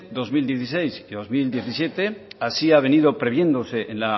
dos mil dieciséis y dos mil diecisiete así ha venido previéndose en